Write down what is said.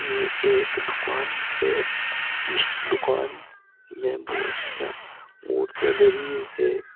ये एक दुकान है। इस दुकान में बोहोत सिया मूर्तियाँ धरी हैं।